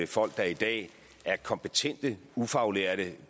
folk der i dag er kompetente ufaglærte